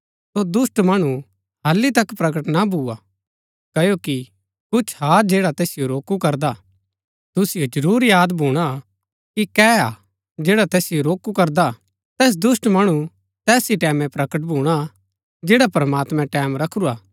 सो दुष्‍ट मणु हालि तक प्रकट ना भुआ क्ओकि कुछ हा जैड़ा तैसिओ रोकू करदा हा तुसिओ जरूर याद भूणा कि कै हा जैड़ा तैसिओ रोकू करदा हा तैस दुष्‍ट मणु तैस ही टैमैं प्रकट भूणा जैडा प्रमात्मैं टैमं रखुरा हा